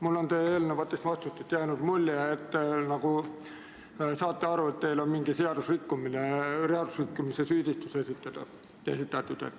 Mul on teie eelnevatest vastustest jäänud mulje, et te nagu saate aru, et teile on mingi seadusrikkumise süüdistus esitatud.